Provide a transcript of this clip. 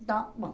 Então, bom.